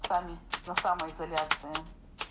сами на самоизоляции